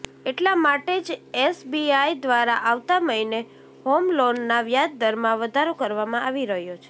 એટલા માટે જ એસબીઆઈ દ્વારા આવતા મહીને હોમલોનના વ્યાજદરમાં વધારો કરવામાં આવી રહ્યો છે